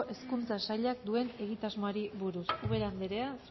hezkuntza sailak duen egitasmoari buruz ubera andrea